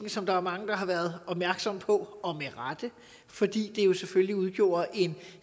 som der er mange der har været opmærksom på og med rette fordi det jo selvfølgelig udgjorde en